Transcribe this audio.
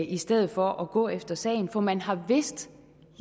i stedet for at gå efter sagen for man har vidst